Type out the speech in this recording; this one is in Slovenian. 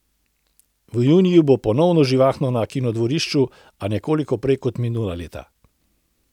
V juniju bo ponovno živahno na Kinodvorišču, a nekoliko prej kot minula leta.